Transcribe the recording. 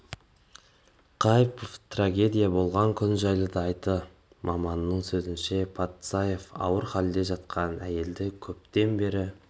қайыпова трагедия болған күн жайлы да айтты маманның сөзінше патсаев ауыр халде жатқан әйелді көптен бері